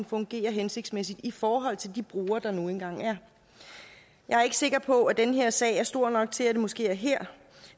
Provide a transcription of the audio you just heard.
fungerer hensigtsmæssigt i forhold til de brugere der nu engang er jeg er ikke sikker på at den her sag er stor nok til at det måske er her